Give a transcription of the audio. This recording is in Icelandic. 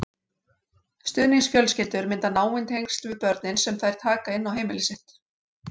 Stuðningsfjölskyldur mynda náin tengsl við börnin sem þær taka inn á heimili sitt.